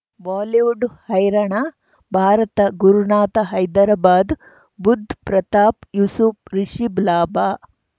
Bollywood ಹೈರಾಣ ಭಾರತ ಗುರುನಾಥ ಹೈದರಾಬಾದ್ ಬುಧ್ ಪ್ರತಾಪ್ ಯೂಸುಫ್ ರಿಷಿಬ್ ಲಾಭ